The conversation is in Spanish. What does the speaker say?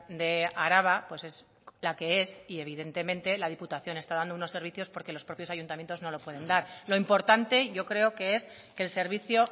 de araba pues es la que es y evidentemente la diputación está dando unos servicios porque los propios ayuntamientos no pueden dar lo importante yo creo que es que el servicio